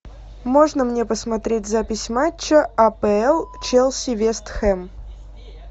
можно мне посмотреть запись матча апл челси вест хэм